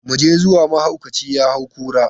Mu je zuwa, mahaukaci ya hau kura.